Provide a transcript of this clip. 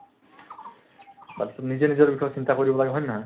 বা তোৰ নিজে নিজৰ বিষয়ে চিন্তা কৰিব লাগে হয় নে নহয়